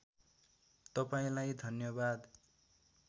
तपाईँलाई धन्यवाद